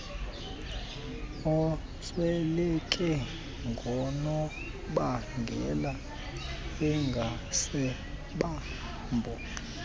osweleke ngoonobangela engasibabo